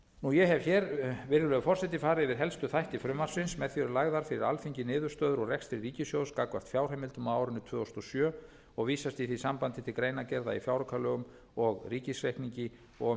átta ég hef hér virðulegur forseti farið yfir helstu þætti frumvarpsins með því eru lagðar fyrir alþingi niðurstöður úr rekstri ríkissjóðs gagnvart fjárheimildum á árinu tvö þúsund og sjö og vísast í því sambandi til greinargerða í fjáraukalögum og ríkisreikningi um og